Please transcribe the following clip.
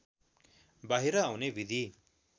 बाहिर आउने विधि